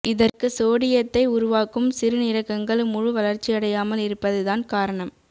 இதற்கு சோடியத்தை உருவாக்கும் சிறுநீரகங்கள் முழு வளர்ச்சியடையாமல் இருப்பது தான் காரணம்